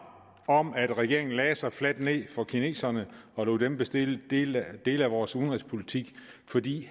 om at regeringen lagde sig fladt ned for kineserne og lod dem bestille dele dele af vores udenrigspolitik fordi